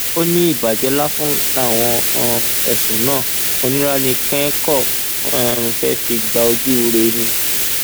ó ní ìbàjẹ lásán làwọn um ẹsùn náà oníranìkẹn kan um fẹẹ fi gba ojúure ni